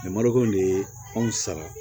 marakɔn de ye anw sara